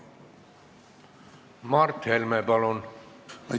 Mart Helme, palun!